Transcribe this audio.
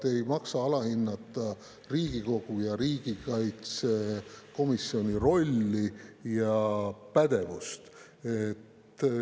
Ei maksa alahinnata Riigikogu ja riigikaitsekomisjoni rolli ja pädevust.